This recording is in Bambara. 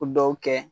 O dɔw kɛ